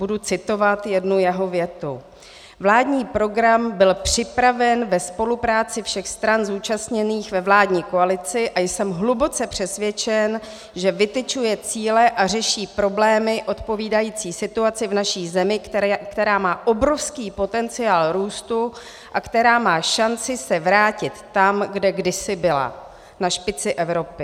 Budu citovat jednu jeho větu: "Vládní program byl připraven ve spolupráci všech stran zúčastněných ve vládní koalici a jsem hluboce přesvědčen, že vytyčuje cíle a řeší problémy odpovídající situaci v naší zemi, která má obrovský potenciál růstu a která má šanci se vrátit tam, kde kdysi byla, na špici Evropy."